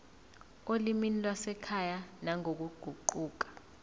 olimini lwasekhaya nangokuguquka